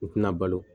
U tɛna balo